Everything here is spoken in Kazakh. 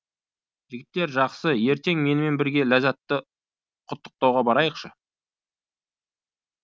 жігіттер жақсы ертең менімен бірге ләззатты құттықтауға барайықшы